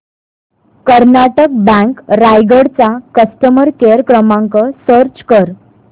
Karnataka bank Raigad चा customer care क्रमांक search कर